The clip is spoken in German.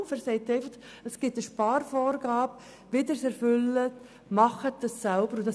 Er sagt einfach, dass es eine Sparvorgabe gibt, er sagt nicht, wie diese zu erfüllen ist.